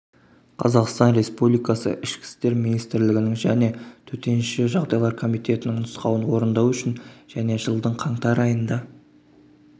қазақстан республикасы ішкі істер министрілгінің және төтенше жағдайлар комитетінің нұсқауын орындау үшін және жылдың қаңтар айында